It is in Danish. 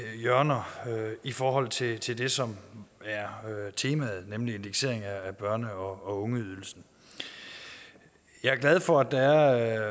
hjørner i forhold til til det som er temaet nemlig en indeksering af børne og ungeydelsen jeg er glad for at der er